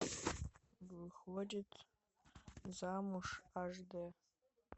выходит замуж аш д